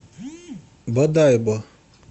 бодайбо